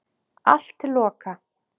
Allt til loka.